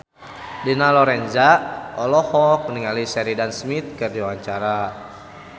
Dina Lorenza olohok ningali Sheridan Smith keur diwawancara